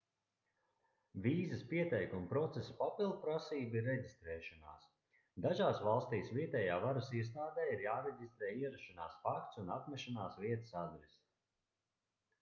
vīzas pieteikuma procesa papildprasība ir reģistrēšanās dažās valstīs vietējā varas iestādē ir jāreģistrē ierašanās fakts un apmešanās vietas adrese